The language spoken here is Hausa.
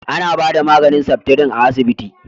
A na ba da maganin seftrin a asibiti